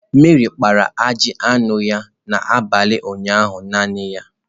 Meri kpara ajị anụ ya n'abalị ụnyaahụ naanị ya.